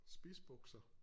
Spidsbukser